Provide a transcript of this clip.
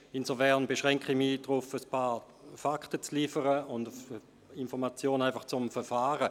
Insofern beschränke ich mich darauf, ein paar Fakten zu liefern sowie Informationen zum Verfahren.